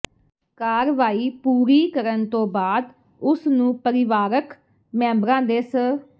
ਕਾਰਵਾਈ ਪੂਰੀ ਕਰਨ ਤੋਂ ਬਾਅਦ ਉਸ ਨੂੰ ਪਰਿਵਾਰਕ ਮੈਂਬਰਾਂ ਦੇ ਸ